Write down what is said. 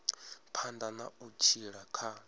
phanḓa na u tshila kha